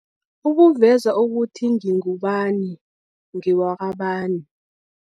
Kukuveza ukuthi ngingubani, ngewakabani.